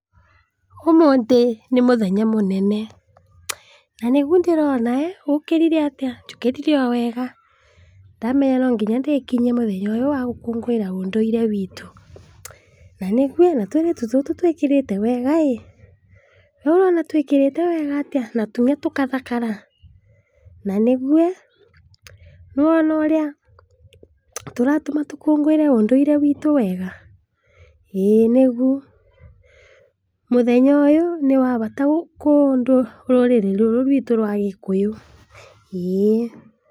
''Ũmũthĩ nĩ mũthenya mũnene, na nĩguo ndĩrona ee, ũkĩrire atĩ? njũkĩrire owega, ndamenya nonginya ndĩkinyie mũthenya ũyũ wagũkũngũĩra ũndũire witũ, na nĩguĩ na tũirĩtu tũtũ twĩkĩrĩte wega ĩ ,weũ ũrona twĩkĩrĩte wega atĩa na tũgathakara, na nĩgue? nĩwona ũrĩa tũratũma tũkũngũire ũndũire witũ wega?,ĩĩ nĩgu mũthenya ũyũ nĩwabata kwa rũrĩrĩ rũrũ rwitũ rwa gĩkũyũ, ĩĩ'.''